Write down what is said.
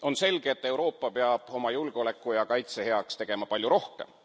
On selge, et Euroopa peab oma julgeoleku ja kaitse heaks tegema palju rohkem.